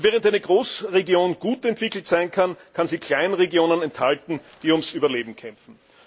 Und während eine Großregion gut entwickelt sein kann, kann sie Kleinregionen enthalten, die ums Überleben kämpfen.